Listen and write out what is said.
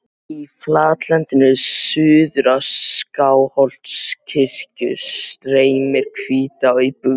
Í flatlendinu suður af Skálholtskirkju streymir Hvítá í bugðu.